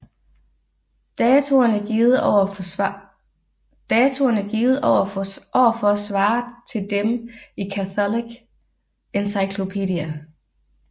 Datoerne givet over for svarer til dem i Catholic Encyclopedia